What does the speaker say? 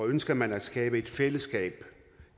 ønsker man at skabe et fællesskab